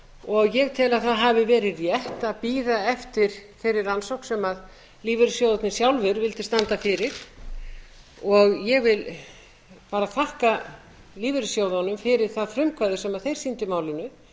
og ég tel að það hafi verið rétt að bíða eftir þeirri rannsókn sem lífeyrissjóðirnir sjálfir vildu standa fyrir og ég vil bara þakka lífeyrissjóðunum fyrir það frumkvæði sem þeir sýndu í málinu